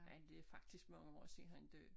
Men det faktisk mange år siden han døde